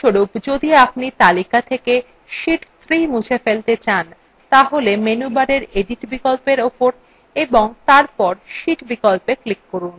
উদাহরণস্বরূপ যদি আপনি তালিকা থেকে sheet 3 মুছে ফেলতে চান তাহলে menu bar edit বিকল্প উপর এবং তারপর sheet বিকল্পে click করুন